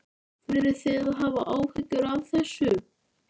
Þurfið þið að hafa áhyggjur af þessu?